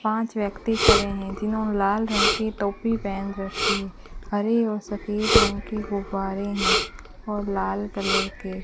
पांच व्यक्ति खड़े हैं जिन्होंने लाल रंग की टोपी पहन रखी है हरे और सफेद रंग के गुब्बारे हैं और लाल कलर के।